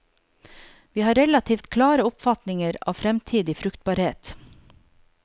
Vi har relativt klare oppfatninger av fremtidig fruktbarhet.